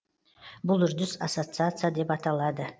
бұл үрдіс ассоциация деп аталады